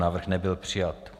Návrh nebyl přijat.